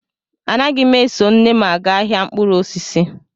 Anaghị m eso nne m aga ahịa mkpụrụ osisi